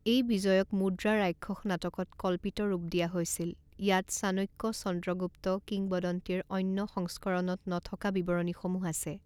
এই বিজয়ক মুদ্ৰাৰাক্ষস নাটকত কল্পিত ৰূপ দিয়া হৈছিল ইয়াত চাণক্য-চন্দ্ৰগুপ্ত কিংবদন্তীৰ অন্য সংস্কৰণত নথকা বিৱৰণীসমূহ আছে।